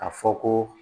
A fɔ ko